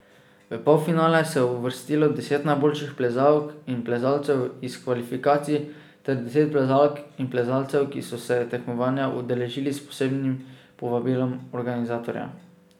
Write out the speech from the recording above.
V polfinale se je uvrstilo deset najboljših plezalk in plezalcev iz kvalifikacij ter deset plezalk in plezalcev, ki so se tekmovanja udeležili s posebnim povabilom organizatorja.